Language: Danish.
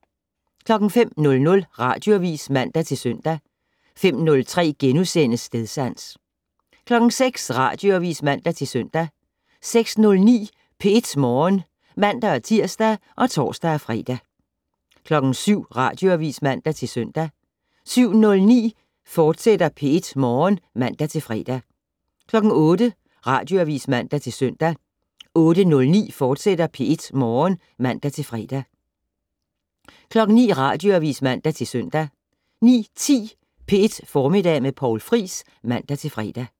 05:00: Radioavis (man-søn) 05:03: Stedsans * 06:00: Radioavis (man-søn) 06:09: P1 Morgen (man-tir og tor-fre) 07:00: Radioavis (man-søn) 07:09: P1 Morgen, fortsat (man-fre) 08:00: Radioavis (man-søn) 08:09: P1 Morgen, fortsat (man-fre) 09:00: Radioavis (man-søn) 09:10: P1 Formiddag med Poul Friis (man-fre)